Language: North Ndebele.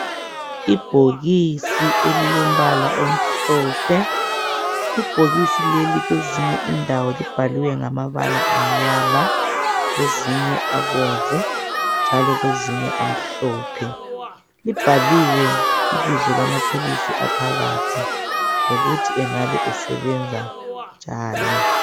Ibhokisi elilombala omhlophe ibhokisi leli kwezinye indawo libhaliwe ngamabala amnyama kwezinye abomvu njalo kwezinye amhlophe libhaliwe ibizo lamaphilisi aphakathi lokuthi angabe esebenza njani.